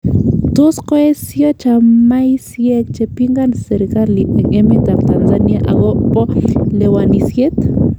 Tos koesio chamaisiek che pingani serkali en emet ab Tanzania akobo lewenisiet